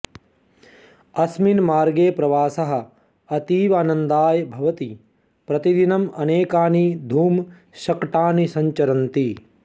अस्मिन् मार्गे प्रवासः अतीवानन्दाय भवति प्रतिदिनम् अनेकानि धूमशकटानि सञ्चरन्ति